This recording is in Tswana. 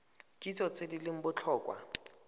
kitso tse di leng botlhokwa